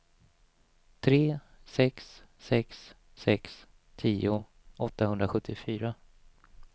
tre sex sex sex tio åttahundrasjuttiofyra